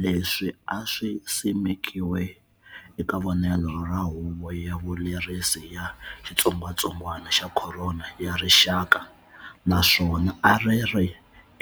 Leswi a swi simekiwe eka vonelo ra Huvo ya Vulerisi ya xitsongwatsongwana xa Khorona ya Rixaka, naswona a ri ri